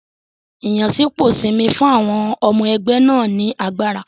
Ìyànsípò Simi fún àwọn ọmọ ẹgbẹ́ náà ní agbára.